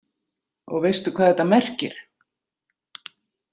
Og veistu hvað þetta merkir?